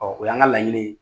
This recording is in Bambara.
Ɔ o y'an ka laɲini ye.